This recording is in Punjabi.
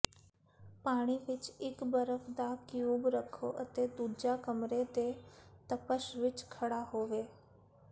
ਪਾਣੀ ਵਿਚ ਇਕ ਬਰਫ਼ ਦਾ ਕਿਊਬ ਰੱਖੋ ਅਤੇ ਦੂਜਾ ਕਮਰੇ ਦੇ ਤਪਸ਼ ਵਿਚ ਖੜ੍ਹਾ ਹੋਵੇ